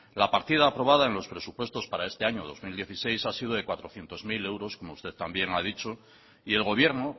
la partida aprobada en los presupuestos para este año dos mil dieciséis ha sido de cuatrocientos mil euros como usted también ha dicho y el gobierno